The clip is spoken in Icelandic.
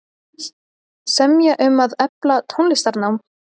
Semja um að efla tónlistarnám